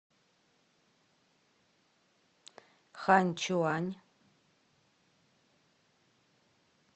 ханьчуань